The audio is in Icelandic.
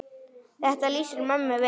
Þetta lýsir mömmu vel.